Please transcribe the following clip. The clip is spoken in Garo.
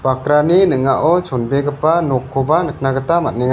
ning·ao chonbegipa nokkoba nikna gita man·enga.